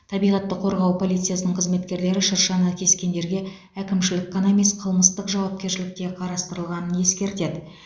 табиғатты қорғау полициясының қызметкерлері шыршаны кескендерге әкімшілік қана емес қылмыстық жауапкершілік те қарастырылғанын ескертеді